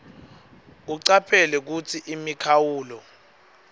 ucaphele kutsi imikhawulo